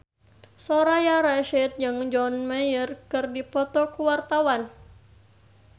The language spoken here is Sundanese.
Soraya Rasyid jeung John Mayer keur dipoto ku wartawan